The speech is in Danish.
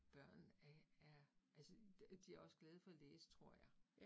Børn er er altså de også glade for at læse tror jeg